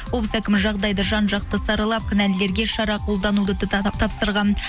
облыс әкімі жағдайды жан жақты саралап кінәлілілерге шара қолдануды тапсырған